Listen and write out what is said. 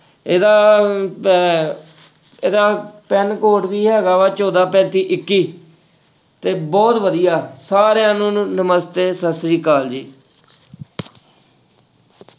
ਇਹਦਾ ਅਹ ਇਹਦਾ PIN code ਵੀ ਹੈਗਾ ਵਾ ਚੌਦਾਂ ਪੈਂਤੀ ਇੱਕੀ ਤੇ ਬਹੁਤ ਵਧੀਆ, ਸਾਰਿਆਂ ਨੂੰ ਨਮਸ਼ਤੇ, ਸਤਿ ਸ੍ਰੀ ਅਕਾਲ ਜੀ।